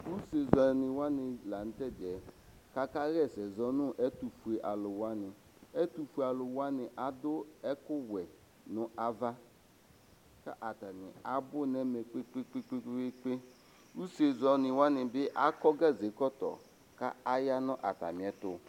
Usezɛni wani lanʋ tɛdiɛ aka xaɛsɛ zɔnʋ ɛtʋfue alʋ wani ɛtʋfue alʋ wani adʋ ɛkʋwɛ nʋ ava kʋ atani abʋ nʋ ɛmɛ kpe kpe kpe kpe usezɛni wani akɔ ɛkɔtɔ kʋ ayanʋ atamiɛtʋ